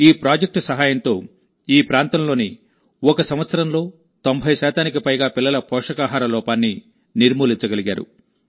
ఈ ప్రాజెక్ట్ సహాయంతోఈ ప్రాంతంలోఒక సంవత్సరంలో90 శాతానికి పైగా పిల్లల పోషకాహార లోపాన్ని నిర్మూలించగలిగారు